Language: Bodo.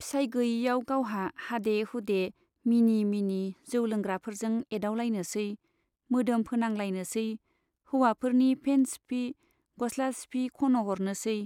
फिसाइ गैयैयाव गावहा हादे हुदे मिनि मिनि जौ लोंग्राफोरजों एदावलायनोसै , मोदोम फोनांलायनोसै , हौवाफोरनि पेन्ट सिफि , गस्ला सिफि खन'हरनोसै।